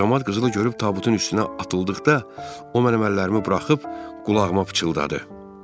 Camaat qızılı görüb tabutun üstünə atıldıqda, o mənim əllərimi buraxıb qulağıma pıçıldadı: